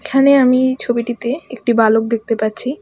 এখানে আমি ছবিটিতে একটি বালক দেখতে পাচ্ছি।